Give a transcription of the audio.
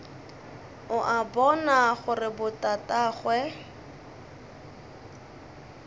o a bona gore botatagwe